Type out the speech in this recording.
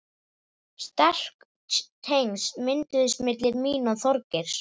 Sterk tengsl mynduðust milli mín og Þorgeirs.